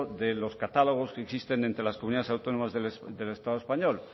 de los catálogos que existen entre las comunidades autónomas del estado español